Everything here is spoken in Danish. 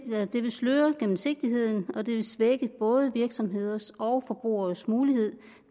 det vil sløre gennemsigtigheden og det vil svække både virksomheders og forbrugeres mulighed